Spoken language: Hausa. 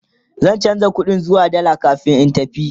zan chanza ƙuɗin zuwa dalla kamin in tafi